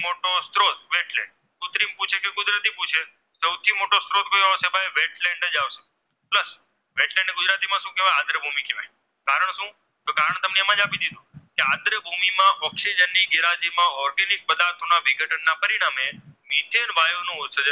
માં Oxygen ની ગેરહાજરીમાં Organic પદાર્થમાં વિઘટનના પરિણામે Methen વાયુનો